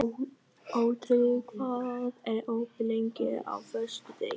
Otri, hvað er opið lengi á föstudaginn?